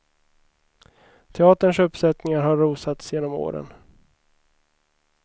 Teaterns uppsättningar har rosats genom åren.